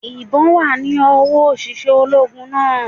Ìbón wà ní owó òṣìṣẹ́ ológun náà